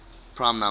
prime number